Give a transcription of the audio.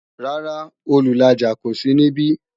Rárá, Olùlàjà kó sí níbí